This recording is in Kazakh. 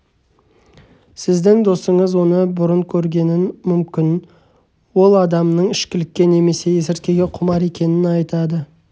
сіздің досыңыз оны бұрын көргенін мүмкін ол адамның ішкілікке немесе есірткіге құмар екенін айтады